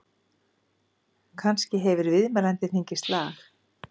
Kannski hefur viðmælandinn fengið slag?